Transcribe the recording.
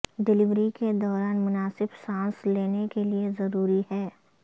delivery کے دوران مناسب سانس لینے کے لئے ضروری ہے